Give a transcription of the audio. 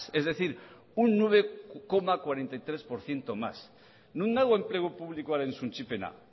es decir un nueve coma cuarenta y tres por ciento más non dago enplegu publikoaren suntsipena